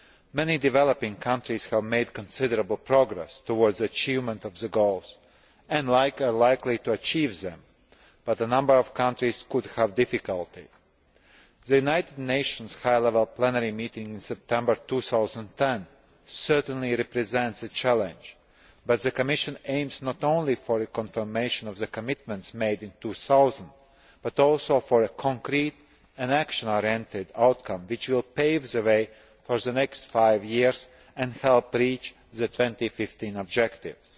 Many developing countries have made considerable progress towards the achievement of the Goals and are likely to achieve them, but a number of countries could have difficulty in achieving them The United Nations High Level Plenary Meeting in September 2010 certainly represents a challenge, but the Commission aims not only for a confirmation of the commitments made in 2000, but also for a concrete and action oriented outcome which will pave the way for the next five years and help reach the 2015 objectives.